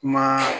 Kuma